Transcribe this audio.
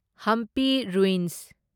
Hampi ruins